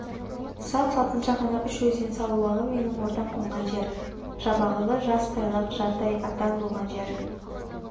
салп-салпыншақ анау үш өзен салуалы менің ордам қонған жер жабағылы жас тайлақ жардай атан болған жер